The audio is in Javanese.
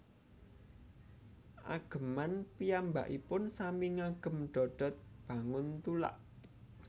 Ageman piyambakipun sami ngagem dodot banguntulak